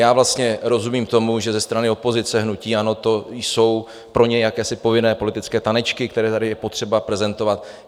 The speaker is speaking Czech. Já vlastně rozumím tomu, že ze strany opozice, hnutí ANO, to jsou pro ně jakési povinné politické tanečky, které tady je potřeba prezentovat.